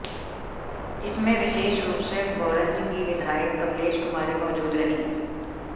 इसमें विशेष रूप से भोरंज की विधायक कमलेश कुमारी मौजूद रहीं